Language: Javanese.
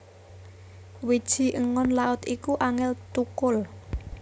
Wiji engon Laut iku angel thukul